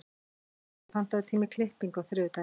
Guðríður, pantaðu tíma í klippingu á þriðjudaginn.